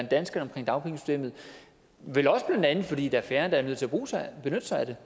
danskerne om dagpengesystemet vel også fordi der er færre der er nødt til at benytte sig af det